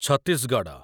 Chhattisgarh